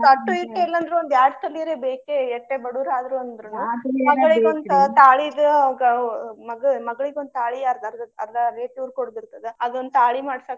ಅಟ್ಟು ಇಟ್ಟು ಇಲ್ಲ ಅಂದ್ರು ಒಂದ ಎರಡ್ ತೊಲಿ ಅರೆ ಬೇಕೆ. ಎಟ್ಟೆ ಬಡುರ ಆದ್ರು ಅಂದ್ರುನು ಮಗಳಿಗಂತ ತಾಳಿದ ಗ ಮಗಳ ಮಗಳಿಗೊಂದ ತಾಳಿ ಅರ್ದಾ ಅದರ್ದ ಅರ್ದಾ rate ಇವ್ರ ಕೊಡೋದ ಇರ್ತದ. ಅದೊಂದ ತಾಳಿ ಮಾಡ್ಸಾಕ ಆ.